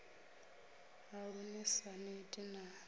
haṋu ni sa neti na